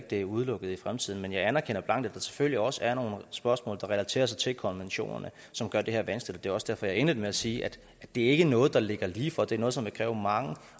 det er udelukket i fremtiden men jeg anerkender blankt at der selvfølgelig også er nogle spørgsmål der relaterer sig til konventionerne som gør det her vanskeligt og det var også derfor jeg indledte med at sige at det ikke er noget der ligger lige for det er noget som vil kræve mange